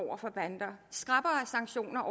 skrappere sanktioner